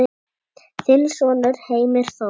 Þinn sonur Heimir Þór.